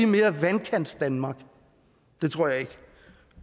mere vandkantsdanmark det tror jeg ikke